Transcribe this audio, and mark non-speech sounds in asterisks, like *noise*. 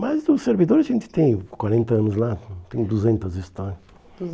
Mas o servidor, a gente tem quarenta anos lá, tem duzentas histórias. *unintelligible*